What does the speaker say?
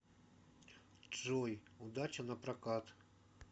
джой удача напрокат